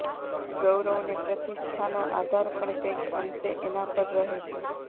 ગૌરવ ને પ્રતિષ્ઠાનો આધાર પણ કંઈક અંશે એના પર રહે છે